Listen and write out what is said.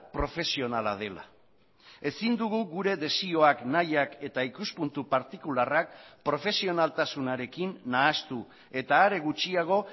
profesionala dela ezin dugu gure desioak nahiak eta ikuspuntu partikularrak profesionaltasunarekin nahastu eta are gutxiago